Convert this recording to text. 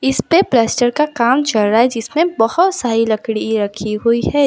इस पे प्लास्टर का काम चल रहा है जिसमें बहोत सारी लकड़ी रखी हुई है।